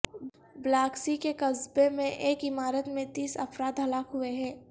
بلاکسی کے قصبے میں ایک عمارت میں تیس افراد ہلاک ہوئے ہیں